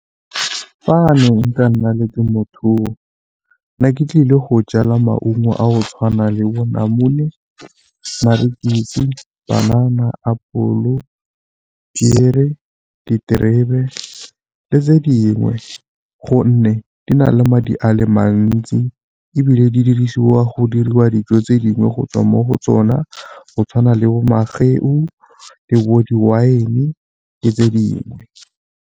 Fa ne nka nna le temothuo ke ne ke tlile go jala maungo a go tshwana le bo namune, , panana, apole, piere, diterebe le tse dingwe gonne di na le madi a le mantsi ebile di dirisiwa go diriwa dijo tse dingwe go tswa mo go tsona go tshwana le bo mageu, le bo di-wine le tse dingwe.